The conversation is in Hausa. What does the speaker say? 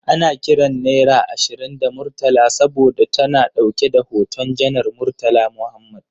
Ana kiran naira ashirin da Murtala saboda ta na dauke da hoton Janar Murtala Mohammed.